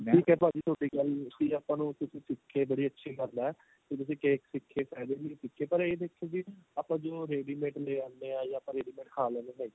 ਠੀਕ ਏ ਭਾਜੀ ਤੁਹਾਡੀ ਗੱਲ ਵੀ ਆਪਾਂ ਨੂੰ ਕੁੱਝ ਸਿਖ ਕੇ ਬੜੀ ਅੱਛੀ ਗੱਲ ਏ ਕੀ ਤੁਸੀਂ cake ਸਿਖੇ ਪਏ ਪਰ ਇਹ ਦੇਖੋ ਵੀ ਆਪਾਂ ਜਿਵੇਂ ਉਹ readymade ਲੈ ਆਂਦੇ ਆ ਜਾ ਆਪਾਂ readymade ਖਾ ਲੈਂਦੇ ਆ